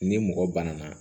Ni mɔgɔ banana